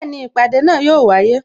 Bẹẹni, ìpàdé náà yo wáyé